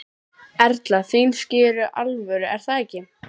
Erla: Þín ský eru alvöru er það ekki?